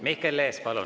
Mihkel Lees, palun!